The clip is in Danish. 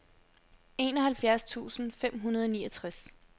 enoghalvfjerds tusind fem hundrede og niogtres